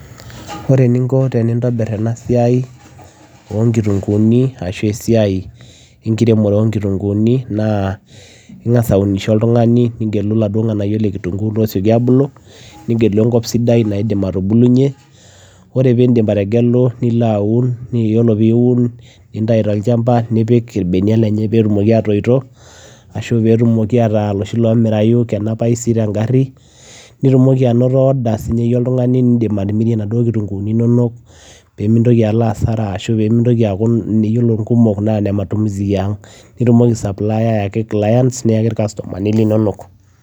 Ore eninko tenintobirr ena siai ooo nkitunguni naa ingas aunishoo oltunganii nigeluu inganayioo loosiokii aabulu enkop sidai oree peyiee iidip ategeluu niloo aun nintayuu tolchamba nipik irbenia peyiee etumokii aatoyitoo ashua nipik irbenia peyiee eekuu kenapayuu tenkarii nitum order nimirie naduoo kitungunii inonok metaa oree ngumok neme ene matumizi yiank nitumoki aai supplier ayaki customer